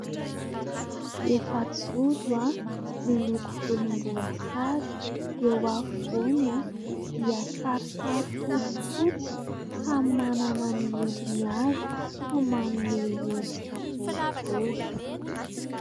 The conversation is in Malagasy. Efajoro miloko volom-boasary, eo afovoany dia sarisary fotsifoty samy manana ny endriny avy fa manome endrika boribory.